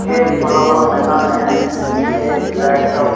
यह एक खुला हुवा मैदान हैं जिसमें एक लाइट का--